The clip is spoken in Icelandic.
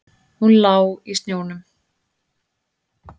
Hún lá í snjónum.